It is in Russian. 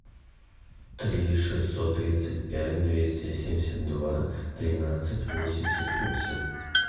три шестьсот тридцать пять двести семьдесят два тринадцать восемьдесят восемь